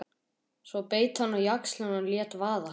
Svo beit hann á jaxlinn og lét vaða.